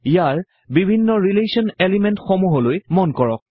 ইয়াৰ বিভিন্ন relation element সমূহলৈ মন কৰক